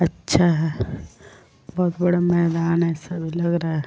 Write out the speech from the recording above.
अच्छा है बोहोत बड़ा मैदान है ऐसा लग रहा है।